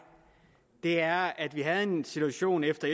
er at vi havde en situation efter